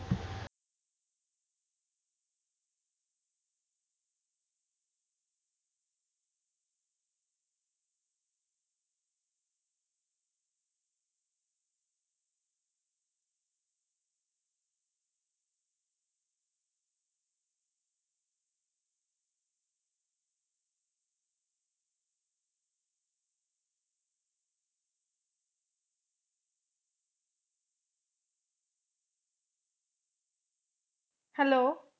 hello